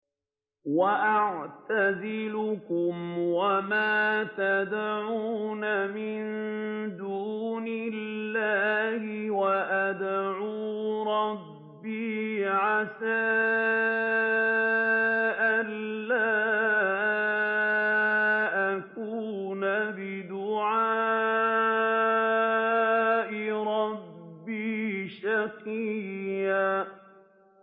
وَأَعْتَزِلُكُمْ وَمَا تَدْعُونَ مِن دُونِ اللَّهِ وَأَدْعُو رَبِّي عَسَىٰ أَلَّا أَكُونَ بِدُعَاءِ رَبِّي شَقِيًّا